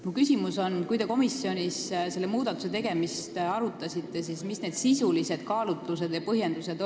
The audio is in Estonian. Minu küsimus on, et kui te komisjonis selle muudatuse tegemist arutasite, siis mis olid sisulised kaalutlused ja põhjendused.